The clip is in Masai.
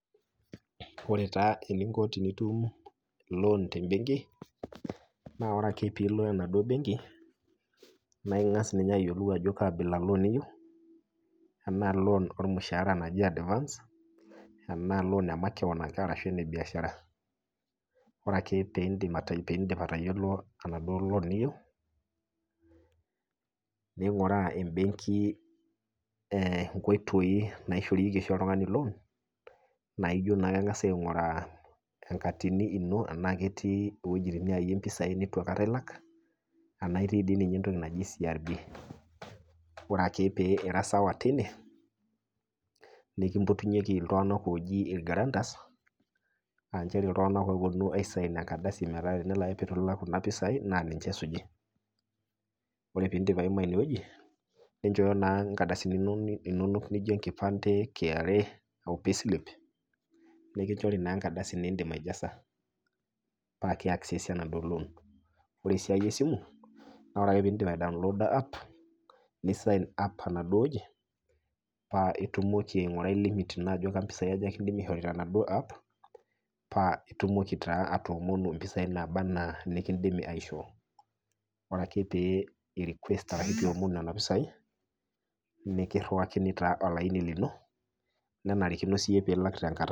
Ore taa eninko tenitum loan tembenki naa ore ake piilo enaduo benki naaing'as ninye ayiolou ajo kaabila loan iyou anaa loan olmushaara naji  advance anaa loan e makewon ake arashu ene [csmbiashara. Ore ake peindim piindip atayiolo enaduo loan niyou neing'uraa embenki eeh inkoitoi naishorieki oshi oltung'ani loan naaijo naa keng'asi aing'uraa enkatini ino tenake etii iwuejitin niayie impisai nitu aikata ilaka ana itii dii ninye entoki naji CRB. Ore ake pee irasawa teine nikimpotunyeki iltung'anak ooji ilgarantas aanchere iltung'anak oopuonu aisain enkardasi metaa tenelo ake peeitu ilak kuna pisai naa ninche esuji. Ore piindip aima inewueji ninchoyo naa inkardasini inonok nijo enkipande, kra, o payslip nikinchori naa enkardasi nindim aijasa paake eaksesi enaduo loan. Ore esiai esimu naore ake piindip aidounloda app nisain up enasuo wueji paa itumoki aing'urai limit ino ajo kampisai aja kindimi aisho tenaduo app paa itumoki taa atoomonu impisai naaba anaa nikindimi aishoo. Ore ake pee irikuest arashu piomonu nena pisai nikirewakini taa olaini lino nenarikino siyie pilak tenkata.